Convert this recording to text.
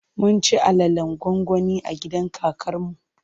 Mun ci alalen gwangwani a gidan kakar mu.